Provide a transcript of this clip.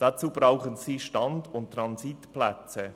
Dazu brauchen sie Stand- und Transitplätze.